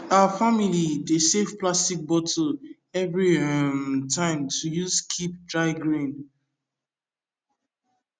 our family dey save plastic bottle every um time to use keep dry grain